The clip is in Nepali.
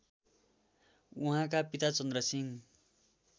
उहाँका पिता चन्द्रसिंह